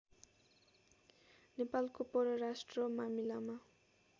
नेपालको परराष्ट्र मामिलामा